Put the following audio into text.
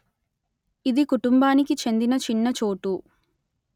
ఇది కుటుంబానికి చెందిన చిన్న చోటు